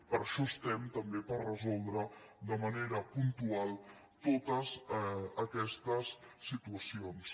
per això estem també per resoldre de manera puntual totes aquestes situacions